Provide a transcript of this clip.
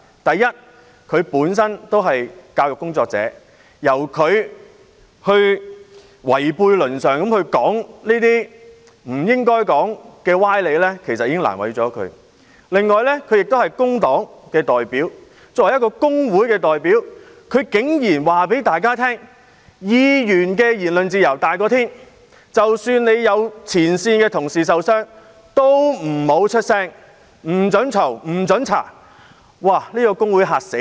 第一，他本身是教育工作者，由他違背倫常地提出這些不應該說的歪理，已經難為了他；另外，他亦是工黨的代表，作為工會代表，他竟然告訴大家，議員的言論自由至高無上，即使有前線同事受傷亦不要發聲，不准批評、不准調查，這個工會實在嚇壞人。